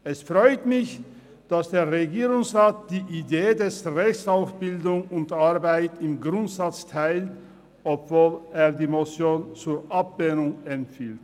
Es freut mich, dass der Regierungsrat die Idee des Rechts auf Bildung und Arbeit im Grundsatz teilt, obwohl er die Motion zur Ablehnung empfiehlt.